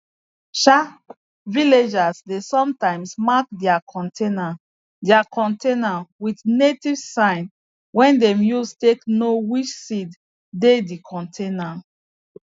um villagers dey sometimes mark their container their container with native sign wey dem use take know which seed dey di container